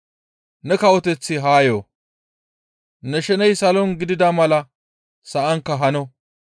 Ne kawoteththi haa yo; ne sheney salon gidida mala sa7ankka hano.